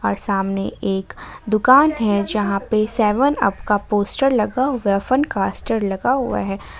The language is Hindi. सामने एक दुकान है जहां पे सेवन अप का पोस्टर लगा हुआ फन कैस्टर लगा हुआ है।